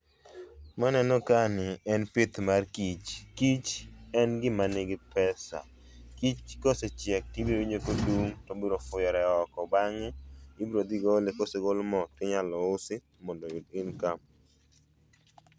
Ma aneno kae ni en pith mar kich, kich en gima nigi pesa. Kich ka osechiek to ibiro winjo ka odung' to ofuyore oko, bang'e ibiro dhi gole, ka osegol mo to inyalo usi mondo oyud income.